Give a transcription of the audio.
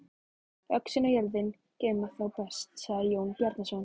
Öxin og jörðin geyma þá best, sagði Jón Bjarnason.